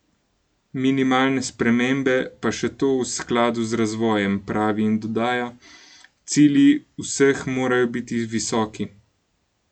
Minimalne spremembe, pa še to v skladu z razvojem," pravi in dodaja: "Cilji vseh morajo biti visoki.